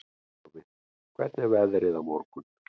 Jarfi, hvernig er veðrið á morgun?